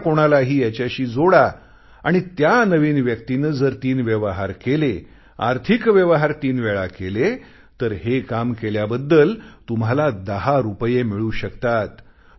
दुसऱ्या कुणालाही याच्याशी जोडा आणि त्या नवीन व्यक्तीने जर तीन व्यवहार केले आर्थिक व्यवहार तीन वेळा केले तर हे काम केल्याबद्दल तुम्हाला 10 रुपये मिळू शकतात